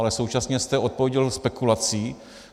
Ale současně jste odpověděl spekulací.